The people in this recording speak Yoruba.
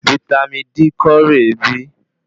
Vítámì D kọ re bí?